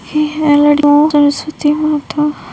ये है लड़की सरस्वती माता --